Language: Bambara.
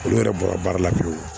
Olu yɛrɛ bɔra baara la pewu